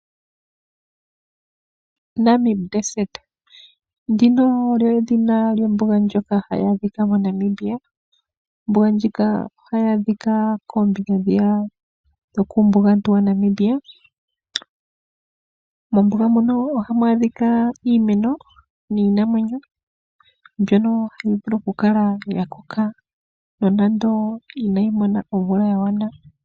Namibia Desert, ndika olyo edhina lyombuga ndjoka hayi adhika moNamibia . Ombuga ndjika ohayi adhika kuumbugantu waNamibia . Momumbuga muno ohamu adhika iinamwenyo niimeno mbyoka hayi vulu okukala yakoka nonando inayi mona omvula yagwana.